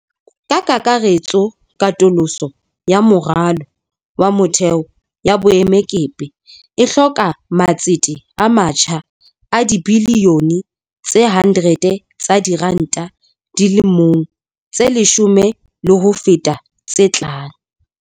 Ka kakaretso, katoloso ya moralo wa motheo ya boemakepe e hloka matsete a matjha a dibili yone tse 100 tsa diranta di le mong tse leshome le ho feta tse tlang.